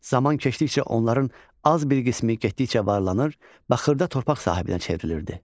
Zaman keçdikcə onların az bir qismi getdikcə varlanır və xırda torpaq sahibinə çevrilirdi.